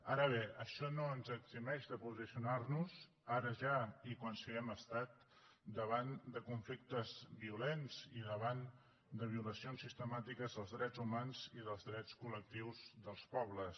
ara bé això no ens eximeix de posicionar nos ara ja i quan siguem estat davant de conflictes violents i davant de violacions sistemàtiques dels drets humans i dels drets col·lectius dels pobles